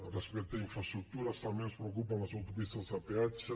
respecte a infraestructures també ens preocupen les autopistes de peatge